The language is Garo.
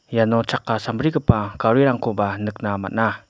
iano chakka sambrigipa garirangkoba nikna man·a.